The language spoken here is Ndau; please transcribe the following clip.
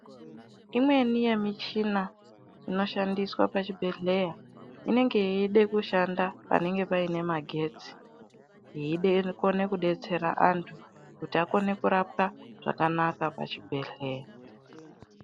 Imweni yemichina inoshandiswa pachibhedhleya inenge yeide kushanda panenge paine magetsi. Yeide kukona kubetsera antu kuti akone kurapwa zvakanaka pachibhedhleya.